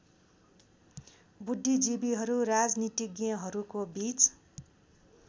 बुद्धिजीविहरू राजनीतिज्ञहरूको बीच